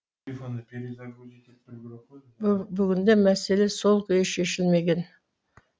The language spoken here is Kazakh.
бүгінде мәселе сол күйі шешілмеген